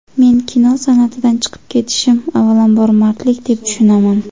Meni kino san’atidan chiqib ketishim avvalambor mardlik deb tushunaman.